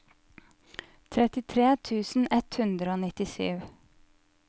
trettitre tusen ett hundre og nittisju